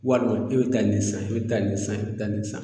Walima e be taa nin san e be taa nin san e be taa nin san